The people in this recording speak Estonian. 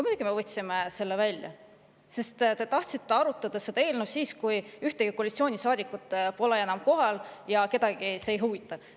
Muidugi me võtsime selle välja, sest te tahtsite arutada seda eelnõu siis, kui ühtegi koalitsioonisaadikut polnud enam kohal ja kedagi see ei huvitanud.